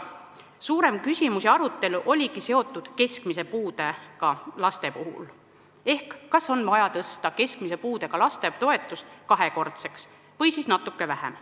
Suurem küsimus ja arutelu oligi keskmise puudega laste üle ehk kas nende toetust on vaja tõsta kahekordseks või natuke vähem.